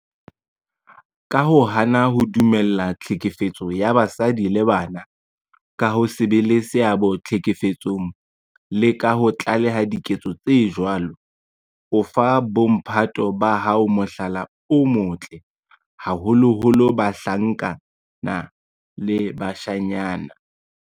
Ka ho hana ho dumella tlhekefetso ya basadi le bana, ka ho se be le seabo tlhekefetsong le ka ho tlaleha diketso tse jwalo, o fa bo mphato ba hao mohlala o motle, haholoholo bahlankana le bashanyana.